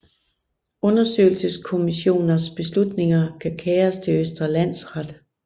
Undersøgelseskommissioners beslutninger kan kæres til Østre Landsret